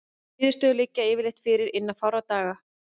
Niðurstöður liggja yfirleitt fyrir innan fárra daga.